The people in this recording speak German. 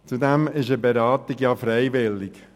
Zudem ist eine Beratung freiwillig;